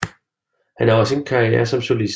Han har også en karriere som solist